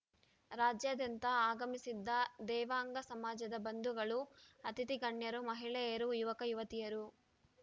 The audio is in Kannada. ರಾಜ್ಯಾದ್ಯಂತ ಆಗಮಿಸಿದ್ದ ದೇವಾಂಗ ಸಮಾಜದ ಬಂಧುಗಳು ಅತಿಥಿ ಗಣ್ಯರು ಮಹಿಳೆಯರು ಯುವಕ ಯುವತಿಯರು